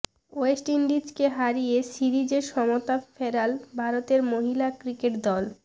West ইন্ডিজকে হারিয়ে সিরিজে সমতা ফেরাল ভারতের মহিলা ক্রিকেট দল